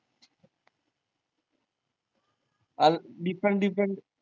अनं different different